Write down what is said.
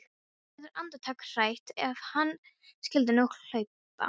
Hún verður andartak hrædd: Ef hann skyldi nú hlaupa.